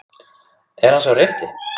Er hann sá rétti?